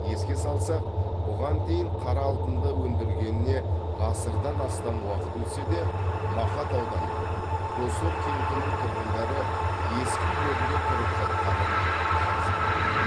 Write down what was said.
еске салсақ бұған дейін қара алтынды өндіргеніне ғасырдан астам уақыт өтсе де мақат ауданы доссор кентінің тұрғындары ескі үйлерінде тұрып жатқанын жазған едік